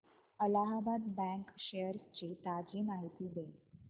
Allahabad bank shares ची ताजी माहिती दे